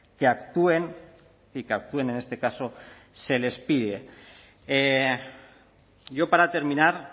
que actúen y que actúen en este caso se les pide yo para terminar